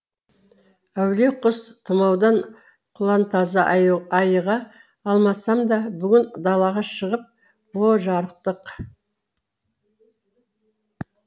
әулие құс тұмаудан құлантаза айыға алмасам да бүгін далаға шығып о жарықтық